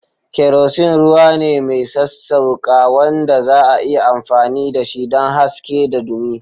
Kerosene ruwa ne mai sassauƙa wanda za'a iya amfani dashi don haske da dumi.